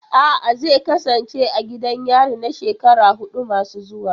A'a, zai kasance a gidan yari na shekaru hudu masu zuwa.